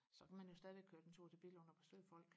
så kan man jo stadig køre en tur til Billund og besøge folk